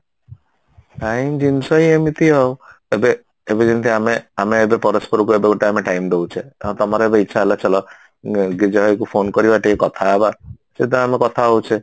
time ଜିନିଷ ହିଁ ଏମିତି ଆଉ ଏବେ ଏବେ ଯେମିତି ଆମେ ଆମେ ଏବେ ପରସ୍ପରକୁ ଏବେ ଗୋଟେ ଆମେ time ଦଉଛେ ହଁ ତମର ଏବେ ଇଛା ହେଲା ଚାଲ ଉଁ ଜୟ କୁ phone କରିବା ଟିକେ କଥା ହବା ସେଠୁ ଆମେ କଥା ହଉଛେ